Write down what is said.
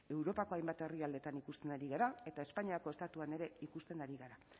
europako hainbat herrialdeetan ikusten ari gara eta espainiako estatuan ere ikusten ari gara